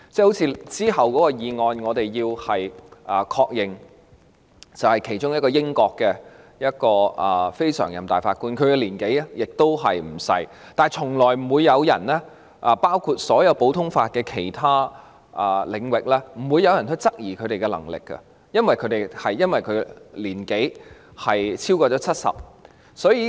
我們會在隨後的議案中，確認其中一位來自英國的非常任法官的任命，其年紀亦不小，但從來沒有人——包括所有其他實行普通法的地域——會因為他已年過70而質疑其能力。